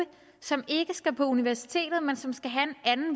som ikke skal på universitetet men som skal have en